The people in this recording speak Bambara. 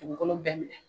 Dugukolo bɛɛ minɛ